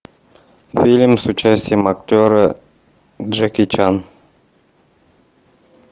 фильм с участием актера джеки чан